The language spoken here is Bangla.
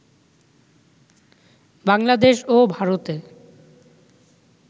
বাংলাদেশ ও ভারতে